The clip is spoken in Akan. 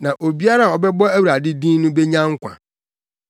Na obiara a ɔbɛbɔ Awurade din no benya nkwa.’